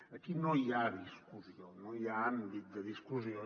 aquí no hi ha discussió no hi ha àmbit de discussió